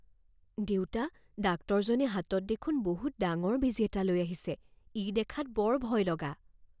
দেউতা, ডাক্তৰজনে হাতত দেখোন বহুত ডাঙৰ বেজী এটা লৈ আহিছে। ই দেখাত বৰ ভয়লগা।